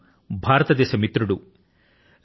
ఆయన భారతదేశానికి మిత్రుడు